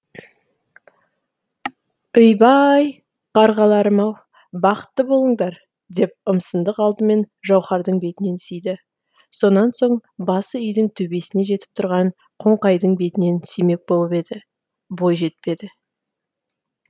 үйбай қарғаларым ау бақытты болыңдар деп ұмсындық алдымен жауһардың бетінен сүйді сонан соң басы үйдің төбесіне жетіп тұрған қоңқайдың бетінен сүймек болып еді бойы жетпеді